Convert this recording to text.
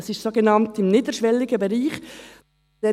Das ist im sogenannt niederschwelligen Bereich. ...